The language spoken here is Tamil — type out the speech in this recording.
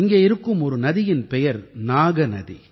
இங்கே இருக்கும் ஒரு நதியின் பெயர் நாகநதி